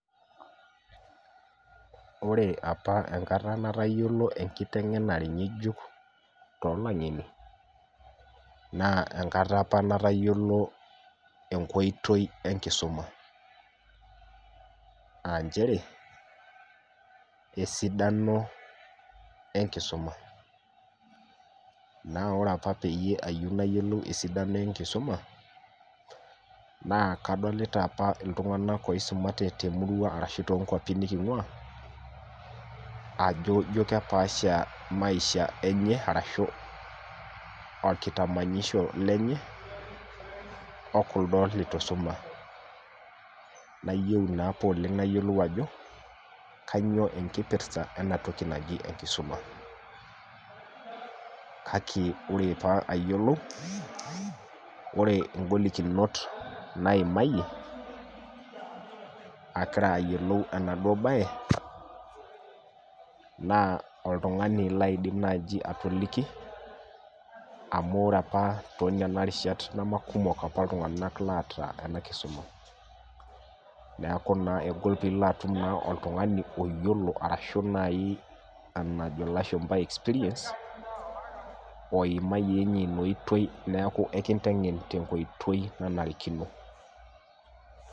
Ore aoa enkata nitayiolo enkitengena nijotolangeni na enkata apa natayiolo enkoitoi ebkisumabaanchere esidano enkisuma na ore apa payieu nayilou esidano enkisuma na kadolta apa ltunganak oisumate lemurua aang arashu tonkwapi nikingua ajo kepaasha maishavenye ashu okulodo lituisuma naiyiolo naapa oleng nayiolo aho kanyio enkipirsa enakisumq lake ore italuayioloilu naimayie ngolikinot kumok ahillgira ayioloubonabaebna oltukutuk laidim atoliki amu ore tinarishat namakumok ltunganak oota enkisuma neaku kegol nai pilo atum oltungani oyioloa oota experience # neaku enkitengen tenkoitoi naritikino.